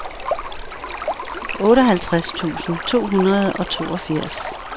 otteoghalvtreds tusind to hundrede og toogfirs